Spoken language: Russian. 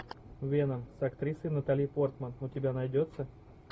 веном с актрисой натали портман у тебя найдется